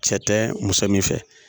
Cɛ tɛ muso min fɛ